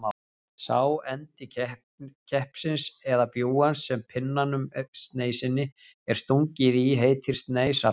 Sá endi keppsins eða bjúgans sem pinnanum, sneisinni, er stungið í heitir sneisarhald.